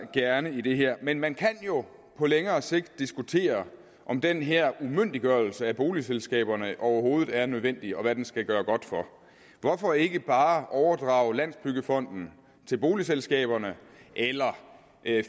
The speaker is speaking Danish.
gerne i det her men man kan jo på længere sigt diskutere om den her umyndiggørelse af boligselskaberne overhovedet er nødvendig og hvad den skal gøre godt for hvorfor ikke bare overdrage landsbyggefonden til boligselskaberne eller